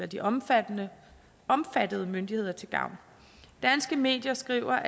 de omfattede omfattede myndigheder til gavn danske medier skriver